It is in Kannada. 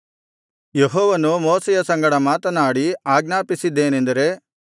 ಯೆಹೋವನು ಮೋಶೆಯ ಸಂಗಡ ಮಾತನಾಡಿ ಆಜ್ಞಾಪಿಸಿದ್ದೇನೆಂದರೆ